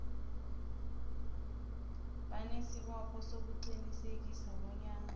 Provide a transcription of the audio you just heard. banesibopho sokuqinisekisa bonyana